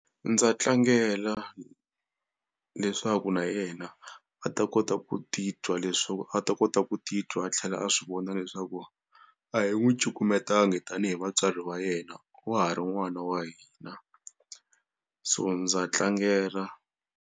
Ndza tlangela leswaku na yena a ta kota ku titwa leswaku a ta kota ku titwa a tlhela a swi vona leswaku a hi n'wi cukumetangi tanihi vatswari va yena wa ha ri n'wana wa hina so ndza tlangela.